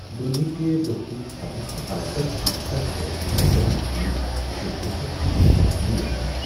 دنیا چہ دۄہدش خبرٕ چھےٚ از کل تیٖژاہ حوصلہ شکن آسان ز بہٕ چھس نہ یمہ پرنُے یژھان۔